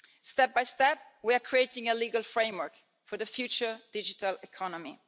Step by step, we are creating a legal framework for the future digital economy.